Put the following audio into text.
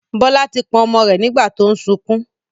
Bọlá tí pọ̀n ọmọ rẹ nígbà tó ń sunkún